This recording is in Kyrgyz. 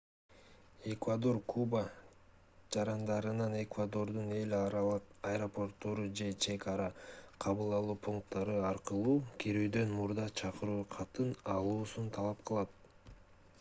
эквадор куба жарандарынан эквадордун эл аралык аэропорттору же чек ара кабыл алуу пункттары аркылуу кирүүдөн мурда чакыруу катын алуусун талап кылат